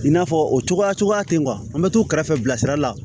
I n'a fɔ o cogoya tɛ an bɛ t'u kɛrɛfɛ bilasira la